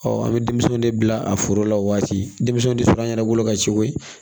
an bɛ denmisɛnw de bila a foro la o waati denmisɛnw bɛ sɔrɔ an yɛrɛ bolo ka ciw ye